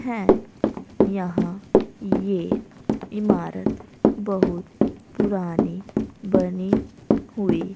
है। यहां ये इमारत बहुत पुरानी बनी हुई।